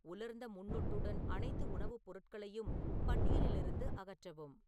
உலர்ந்த முன்னொட்டுடன் அனைத்து உணவுப் பொருட்களையும் பட்டியலிலிருந்து அகற்றவும்